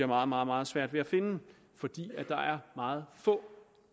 meget meget svært ved at finde fordi der er meget få